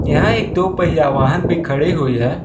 यहां एक दो पहिया वाहन भी खड़े हुई है।